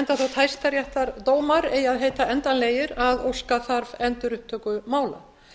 enda þótt hæstaréttardómar eigi að heita endanlegir að óska þarf endurupptöku mála